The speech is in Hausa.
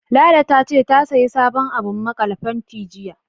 Lala ta ce, ta sayi sabon abun maƙale faranti, jiya.